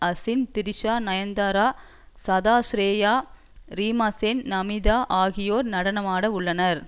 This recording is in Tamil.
அசின் த்ரிஷா நயன்தாரா சதா ஸ்ரேயா ரீமாசென் நமிதா ஆகியோர் நடனமாட உள்ளனர்